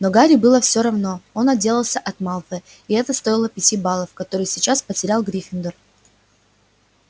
но гарри было всё равно он отделался от малфоя и это стоило пяти баллов которые сейчас потерял гриффиндор